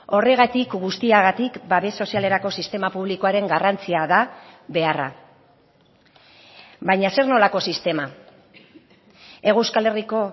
horregatik guztiagatik babes sozialerako sistema publikoaren garrantzia da beharra baina zer nolako sistema hego euskal herriko